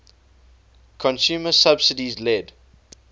consumer subsidies led